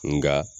Nka